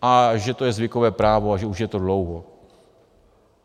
A že to je zvykové právo a že už je to dlouho.